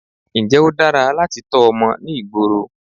Ǹjẹ́ ó dára láti tọ́ ọmọ ní ìgboro?